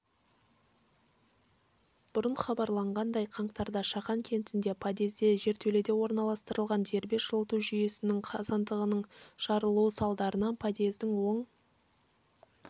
бұрын хабарланғандай қаңтарда шахан кентінде подъезде жертөлеге орналастырылған дербес жылыту жүйесінің қазандығының жарылуы салдарынан подъездің оң